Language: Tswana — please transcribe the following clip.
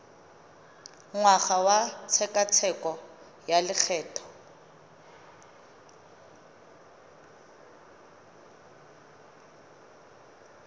ngwaga wa tshekatsheko ya lokgetho